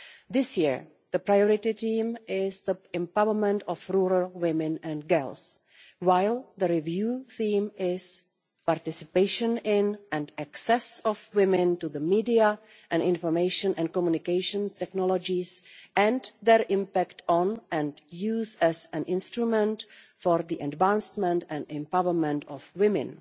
This year the priority theme is the empowerment of rural women and girls, while the review theme is participation in, and access of women to, the media and information and communication technologies and their impact on, and use as, an instrument for the advancement and empowerment of women.